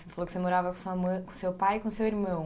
Você falou que você morava com a sua mã, com seu pai e com seu irmão.